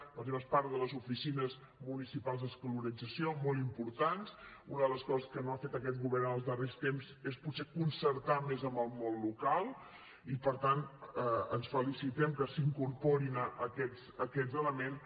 per exemple es parla de les oficines municipals d’escolarització molt importants una de les coses que no ha fet aquest govern en els darrers temps és potser concertar més amb el món local i per tant ens felicitem que s’hi incorporin aquests elements